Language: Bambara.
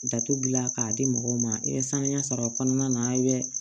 Datugulan k'a di mɔgɔw ma i bɛ sanuya sɔrɔ a kɔnɔna na i bɛ